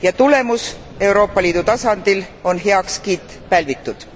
Ja tulemus Euroopa Liidu tasandil on heakskiit pälvitud.